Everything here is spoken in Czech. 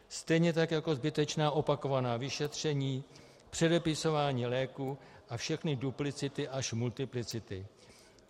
Stejně tak jako zbytečná opakovaná vyšetření, předepisování léků a všechny duplicity až multiplicity.